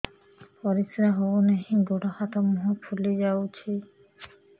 ପରିସ୍ରା ହଉ ନାହିଁ ଗୋଡ଼ ହାତ ମୁହଁ ଫୁଲି ଯାଉଛି